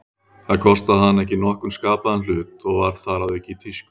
Það kostaði hana ekki nokkurn skapaðan hlut, og var þar að auki í tísku.